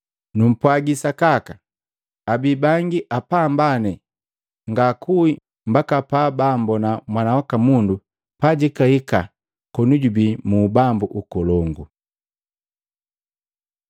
Numpwagi sakaka, abi bangi apambane ngaakue mbaka pabaambona Mwana waka Mundu pajihika koni jubii mu Ubambu Nkolongu.”